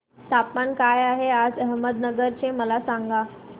तापमान काय आहे आज अहमदनगर चे मला सांगा